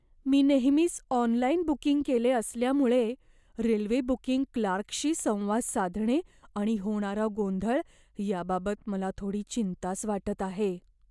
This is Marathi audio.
मी नेहमीच ऑनलाइन बुकिंग केले असल्यामुळे, रेल्वे बुकिंग क्लार्कशी संवाद साधणे आणि होणारा गोंधळ याबाबत मला थोडी चिंताच वाटत आहे.